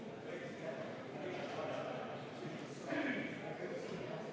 Aitäh, head kolleegid!